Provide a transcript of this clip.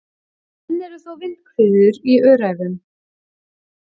Enn eru þó vindhviður í Öræfunum